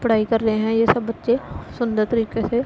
पढ़ाई कर रहे हैं ये सब बच्चे सुंदर तरीके से--